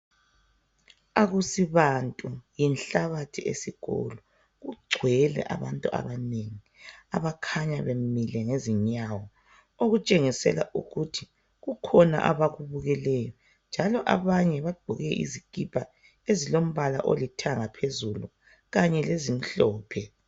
Akusibantu yinhlabathi esikolo .Kugcwele abantu abanengi abakhanya bemile ngezinyawo .Okutshengisela ukuthi kukhona abakubukeleyo. Njalo. abanye bagqoke izikipa ezilombala olithanga phezulu .Kanye lezimhlophe .